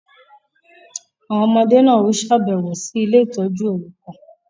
Awọn ọmọde náà o ṣabẹwo sí ile-itọju orukan